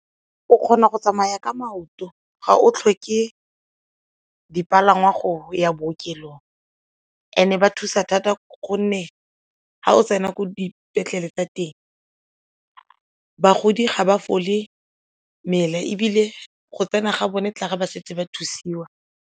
O kgona go tsamaya ka maoto, ga o tlhoke dipalangwa go ya bookelong and-e ba thusa gonne ga o tsena ko dipetlele tsa teng bagodi ga ba fole mmele ebile go tsena ga bone tla ba setse ba thusiwa.